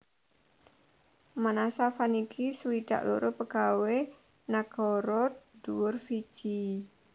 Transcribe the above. Manasa Vaniqi swidak loro pegawé nagara dhuwur Fiji